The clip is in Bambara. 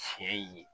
Tiɲɛ ye